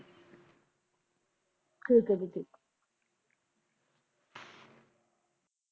ਠੀਕ ਆ ਜੀ ਠੀਕ